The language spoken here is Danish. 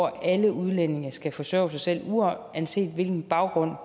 at alle udlændinge skal forsørge sig selv uanset hvilken baggrund